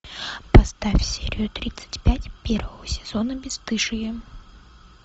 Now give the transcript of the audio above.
поставь серию тридцать пять первого сезона бесстыжие